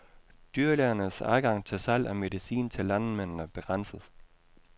Dyrlægernes adgang til salg af medicin til landmændene begrænses.